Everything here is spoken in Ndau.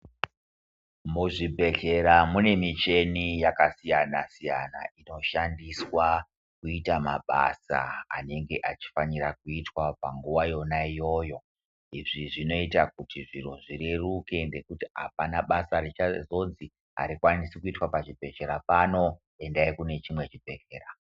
Muzvibhehlera mune michini yakasiyana-siyana inoshandiswa kuita mabasa anenge achifanira kuitwa panguva yona iyoyo. Izvi zvinoita kuti zviro zvireruke nekuti hapana basa richazonzi harikwanisi kuitwa pachibhehhlera pano, endai kune chimwe chibhehlera.